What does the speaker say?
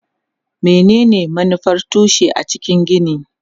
Menene manufar tushe a cikin gini?